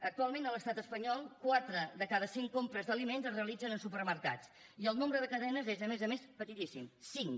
actualment a l’estat espanyol quatre de cada cinc compres d’aliments es realitzen en supermercats i el nombre de cadenes és a més a més petitíssim cinc